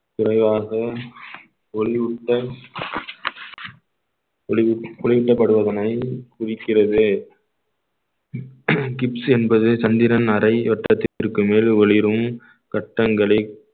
குறைவாக ஒளியூட்டல் ஒளியூட்டப்படுவதனை குறிக்கிறது kips என்பது சந்திரன் அரை வட்டத்திற்கு மேல் ஒளிரும் கட்டங்களை